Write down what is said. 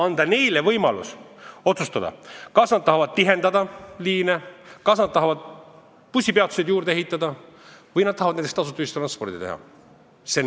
Neile antakse võimalus otsustada, kas nad tahavad liine tihendada, kas nad tahavad bussipeatuseid juurde ehitada või näiteks tasuta ühistranspordi teha.